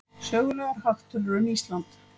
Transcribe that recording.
sögulegar hagtölur um ísland